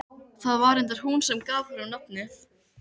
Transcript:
Það var reyndar hún sem gaf honum nafnið.